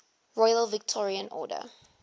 royal victorian order